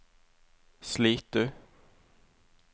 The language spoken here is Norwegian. Slitu